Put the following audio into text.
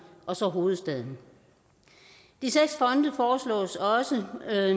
og så hovedstaden de seks fonde foreslås også at